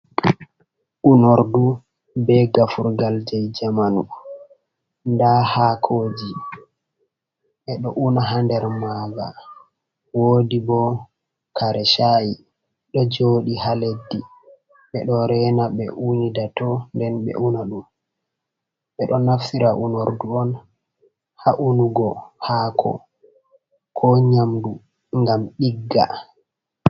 Unordu be gafurgal je jamanu, nda hakoji ɓe ɗo una ha nder maga, wodi bo kare shai ɗo joɗi ha leddi ɓe ɗo rena ɓe unida to nden ɓe unaɗum, ɓe ɗo naftira unordu'on ha unugo hako ko nyamdu ngam ɗigga.